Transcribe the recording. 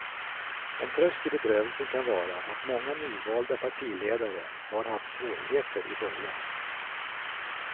En tröst i bedrövelsen kan vara att många nyvalda partiledare har haft svårigheter i början.